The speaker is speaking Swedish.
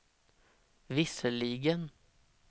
visserligen